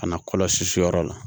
Ka na kɔlɔsi yɔrɔ la